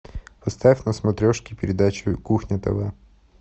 поставь на смотрешке передачу кухня тв